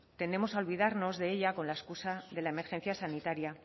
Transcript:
tendemos a olvidarnos de ella con la excusa de la emergencia sanitaria